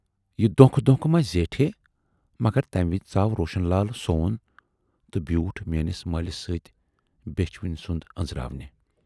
یہِ دھونکہٕ دونکھ ما زیٹھِ ہے، مگر تمہِ وِزِ ژاو روشن لال سون تہٕ بیوٗٹھ میٲنِس مٲلِس سۭتۍ بیچھِ وٕنۍ سُند ٲنزراونہِ۔